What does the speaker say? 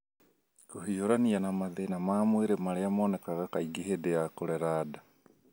Kũhiũrania na mathĩna ma mwĩrĩ marĩa monekaga kaingĩ hĩndĩ ya kũrera nda.